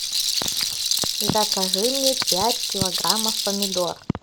закажи мне пять килограммов помидор